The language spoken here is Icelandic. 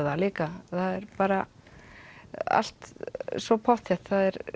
það líka það er bara allt svo pottþétt